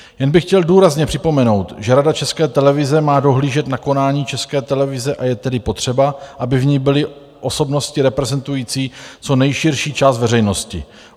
Jen by chtěl důrazně připomenout, že Rada České televize má dohlížet na konání České televize, a je tedy potřeba, aby v ní byly osobnosti reprezentující co nejširší část veřejnosti.